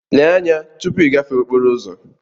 Lee anya tupu ịgafe okporo ụzọ!